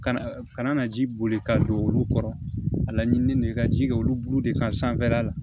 Kana kana na ji boli ka don olu kɔrɔ a la ɲiini de ka ji kɛ olu bulu de kan sanfɛla la